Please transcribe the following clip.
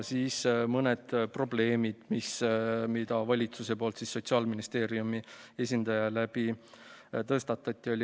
Mõned probleemid, mis valitsus Sotsiaalministeeriumi esindaja kaudu tõstatas.